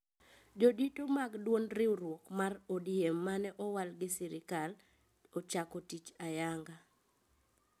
Jodito mag duond riuruok mar ODM mane owal gi sirkal ochako tich ayanga